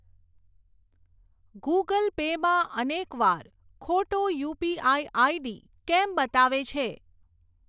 Google Pay માં અનેક વાર ખોટો યુપીઆઈ આઈડી કેમ બતાવે છે?